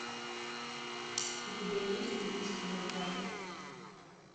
у тебя есть убийство на пляже